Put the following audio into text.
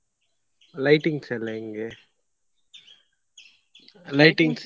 Lightings ಎಲ್ಲ ಹೆಂಗೆ Lightings .